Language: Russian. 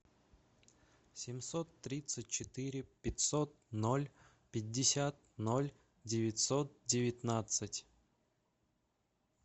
семьсот тридцать четыре пятьсот ноль пятьдесят ноль девятьсот девятнадцать